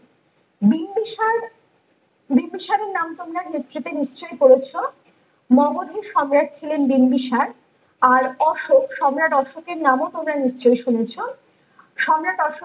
বিম্বিসার বিম্বিসারের নাম তোমার history তে নিশ্চই পড়েছো মগজের সম্রাট ছিলেন বিম্বিসার আর অশোক সম্রাট অশোকের নাম ও তোমরা নিশ্চই শুনেছ সম্রাট অশোক